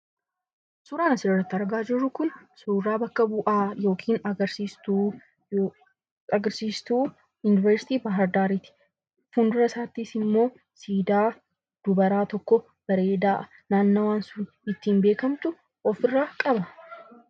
Suuraan asirratti argaa jirru kun suuraa bakka bu'aa yookiin agarsiistuu Yuunivarsiitii Baahardaarii ti. Fuuldura isaattis immoo siidaa dubaraa tokko bareedaa naannawaan sun ittiin beekamtu ofirraa qaba.